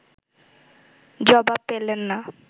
জবাব পেলেন না